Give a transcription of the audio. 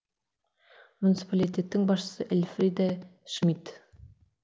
муниципалитеттің басшысы эльфриде шмидт